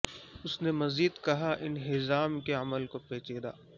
اس نے مزید کہا انہضام کے عمل کو پیچیدہ